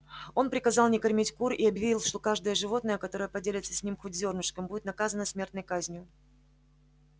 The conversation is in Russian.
он приказал не кормить кур и объявил что каждое животное которое поделится с ними хоть зёрнышком будет наказано смертной казнью